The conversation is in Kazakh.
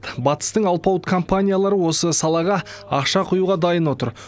батыстың алпауыт компаниялары осы салаға ақша құюға дайын отыр